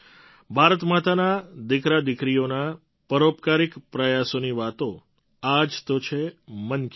ભારત માતાનાં દીકરાદીકરીઓના પરોપકારિક પ્રયાસોની વાતો આ જ તો છે મન કી બાત